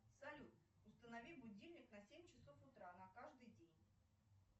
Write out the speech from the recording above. салют установи будильник на семь часов утра на каждый день